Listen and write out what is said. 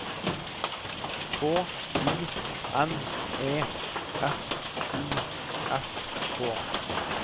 K I N E S I S K